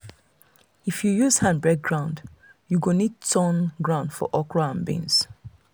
if you use hand break ground you go need turn ground for okra and beans.